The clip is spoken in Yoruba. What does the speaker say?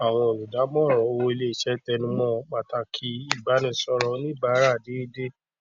àwọn olùdàmóran owó iléiṣẹ tẹnùmọ pàtàkì ìbánisọrọ oníbàárà déédé